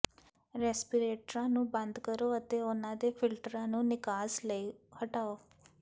ਰੈਸਪੀਰੇਟਰਾਂ ਨੂੰ ਬੰਦ ਕਰੋ ਅਤੇ ਉਹਨਾਂ ਦੇ ਫਿਲਟਰਾਂ ਨੂੰ ਨਿਕਾਸ ਲਈ ਹਟਾਓ